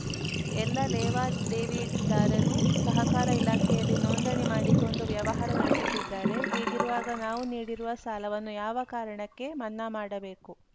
ಎಲ್ಲ ಲೇವಾದೇವಿದಾರರು ಸಹಕಾರ ಇಲಾಖೆಯಲ್ಲಿ ನೋಂದಣಿ ಮಾಡಿಕೊಂಡು ವ್ಯವಹಾರ ನಡೆಸುತ್ತಿದ್ದಾರೆ ಹೀಗಿರುವಾಗ ನಾವು ನೀಡಿರುವ ಸಾಲವನ್ನು ಯಾವ ಕಾರಣಕ್ಕೆ ಮನ್ನಾ ಮಾಡಬೇಕು